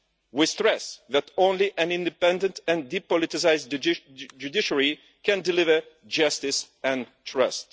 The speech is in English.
We stress that only an independent and depoliticised judiciary can deliver justice and trust.